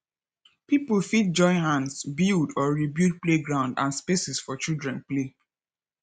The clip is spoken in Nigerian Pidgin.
pipo fit join hands build or rebuild playground and spaces for children play